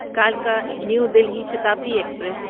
کلکا new Delhi Shatabdi express